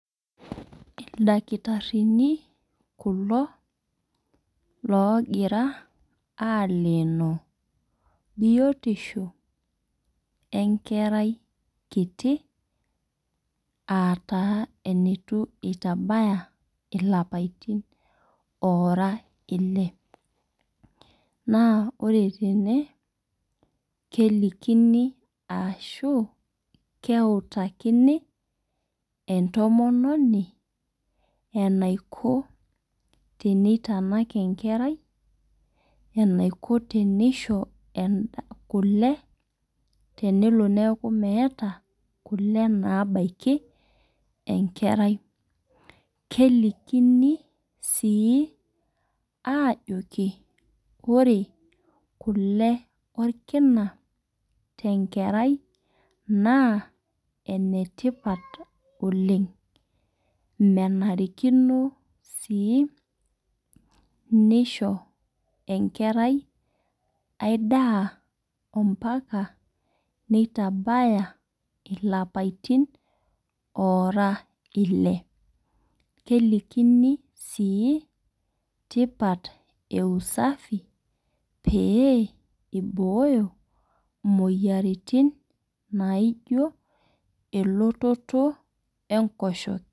Ildakitarini kulo loogira aleno biotisho enkerai nkiti aa eneitu taa itabaya ilapaitin ore ile. Naa ore tene kelikini ashu keutakini entomononi eniko teneitanak enkerai eniko teneisho kule tenelo neeku meeta kule nabaki enkerai. Kelinkini sii ajoki ore kule orkina te nkerai naa enetipat oleng'. Menarikino sii neisho enkerai aii daa ompaka nitabaya ilapaitin ora ile. Kelikini sii tipat ee usafi pee iboyoo imoyiaritin naijo elototo enkoshok